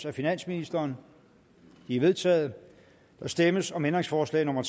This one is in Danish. af finansministeren det er vedtaget der stemmes om ændringsforslag nummer